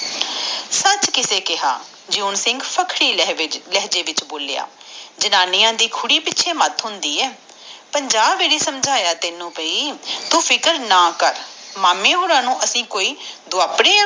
ਸੱਚ ਕਿਸੇ ਨੇ ਬੋਲਿਯਤਾ ਜਿਉਂ ਸਿੰਘ ਸਖਤੀ ਲਹਿਜੇ ਵਿਕਸਹ ਬੋਲਿਆ ਜਨਾਨੀਆਂ ਦੇ ਪਿੱਛੇ ਮੈਟ ਹੁੰਦੇ ਆ ਪੰਜ ਵੇਲੇ ਸਮਝਿਆ ਤੈਨੂੰ ਬਾਈ ਤੂੰ ਚਿੰਤਾ ਨਾ ਕਰ ਮਾਮੇ ਹੋਣਾ ਨੂੰ ਅਸੀਂ ਕੋਈ ਦੁਆਪ੍ਣੇ ਆ